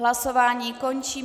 Hlasování končím.